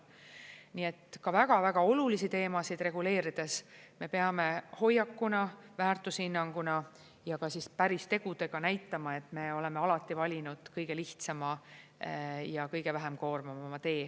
Nii et ka väga-väga olulisi teemasid reguleerides me peame hoiakuna, väärtushinnanguna ja ka päris tegudega näitama, et me oleme alati valinud kõige lihtsama ja kõige vähem koormavama tee.